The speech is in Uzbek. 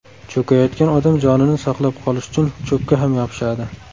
Cho‘kayotgan odam jonini saqlab qolish uchun cho‘pga ham yopishadi.